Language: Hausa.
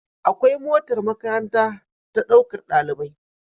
Akwai motar makaranta ta ɗaukar ɗalibai